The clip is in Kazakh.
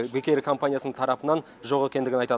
бек эйр компаниясының тарапынан жоқ екендігін айтады